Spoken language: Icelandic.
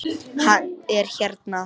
Hann er hérna